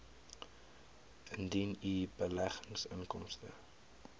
indien u beleggingsinkomste